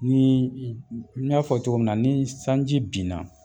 Nii i n n y'a fɔ cogo min na ni sanji binna